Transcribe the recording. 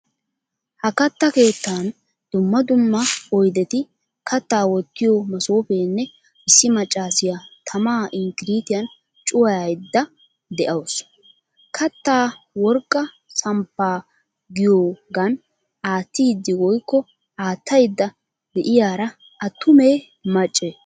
Ha katta keettan dumma dumma oyddetti, katta wottiyo masoppenne issi maccasiyaa tamaa inkiritiyan cuwayayda de'wusu. Katta worqqa samppaa giyiyogan attidi woykko attayda de'iyara attume macce?